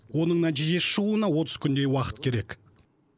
оның нәтижесі шығуына отыз күндей уақыт керек